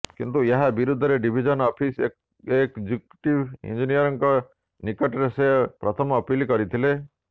କିନ୍ତୁ ଏହା ବିରୋଧରେ ଡିଭିଜନ ଅଫିସ୍ ଏକ୍ ଜୁକିଟିଭ୍ ଇଂଜିନିୟରଙ୍କ ନିକଟରେ ସେ ପ୍ରଥମ ଅପିଲ୍ କରିଥିଲେ